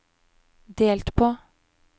delt på